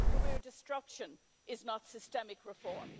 Career destruction is not systemic reform.